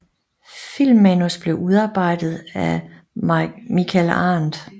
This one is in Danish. Filmmanus blev udarbejdet af Michael Arndt